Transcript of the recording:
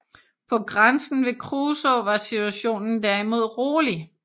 På grænsen ved Kruså var situationen derimod rolig